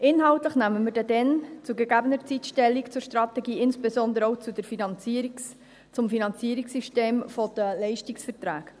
Inhaltlich nehmen wir dann, zu gegebener Zeit, Stellung zur Strategie, insbesondere auch zum Finanzierungssystem der Leistungsverträge.